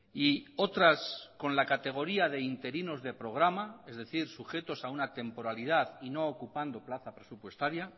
y otras con la categoría de interinos de programa es decir sujetos a una temporalidad y no ocupando plaza presupuestaria